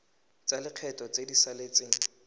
tsa lekgetho tse di saletseng